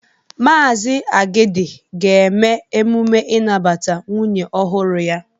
Maazi Agidi ga-eme emume inabata nwunye ọhụrụ ya.